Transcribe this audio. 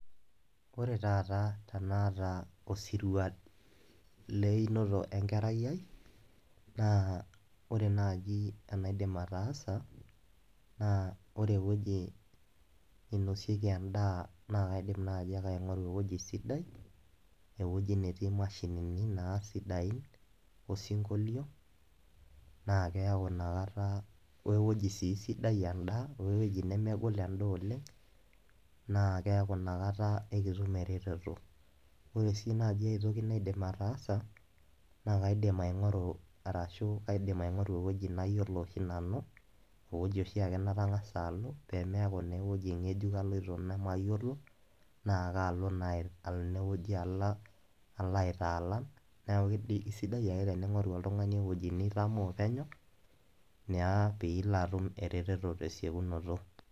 Ore taata tenaata osirua leinoto enkerai ai naa ore naji enaidim ataasa naa ore ewueji ninosieki endaa naa kaidim naji ake aingoru ewueji sidai , ewueji netii imashinini naa sidain osinkolio naa keyau inakata we weuji sii sidai endaa we ewueji nemegol endaa oleng naa keaku inakta ekitum ereteto. Ore sii naji aetoki naidim ataasa naa kaidim aingoru arashu kaidim aingoru ewueji nayiolo oshi nanu , ewueji oshiake natangasa alo pemeaku naa ewueji ngejuk aloito nemayiolo naa kalo naa ine wueji alo ala aitaalan niaku sidai ake teningoru oltungani ewueji nitamoo penyo niaa pilo atum ereteto tesiokinoto.